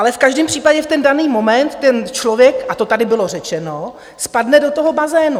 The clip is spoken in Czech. Ale v každém případě v ten daný moment ten člověk, a to tady bylo řečeno, spadne do toho bazénu.